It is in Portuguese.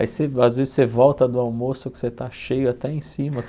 Aí você às vezes você volta do almoço que você está cheio até em cima.